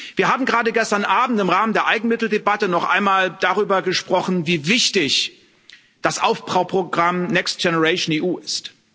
Wir haben gerade gestern Abend im Rahmen der Eigenmitteldebatte noch einmal darüber gesprochen, wie wichtig das Aufbauprogramm Next Generation EU ist.